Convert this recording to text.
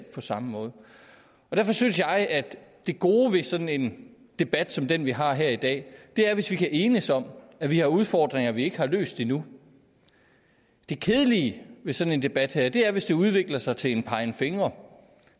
på samme måde derfor synes jeg at det gode ved sådan en debat som den vi har her i dag er hvis vi kan enes om at vi har udfordringer vi ikke har løst endnu det kedelige ved sådan en debat her er hvis det udvikler sig til en pegen fingre